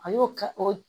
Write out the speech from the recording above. A y'o kɛ o